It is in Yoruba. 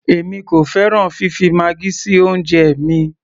èmi kò fẹ́ràn fifi maggi sí oúnjẹ mi